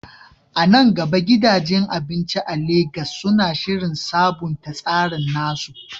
A nan gaba, gidajen abinci a Legas suna shirin sabunta tsarin nasu?